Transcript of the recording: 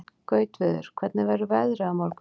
Gautviður, hvernig verður veðrið á morgun?